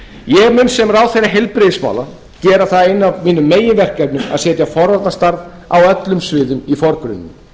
ég mun sem ráðherra heilbrigðismála gera það eitt af mínum meginverkefnum að setja forvarnastarf á öllum sviðum í forgrunninn